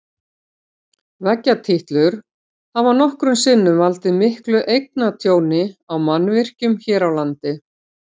Veggjatítlur hafa nokkrum sinnum valdið miklu eignatjóni á mannvirkjum hér á landi.